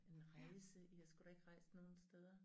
En rejse i har sgu da ikke rejst nogen steder